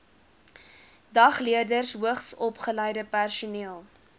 dagleerders hoogsopgeleide personeel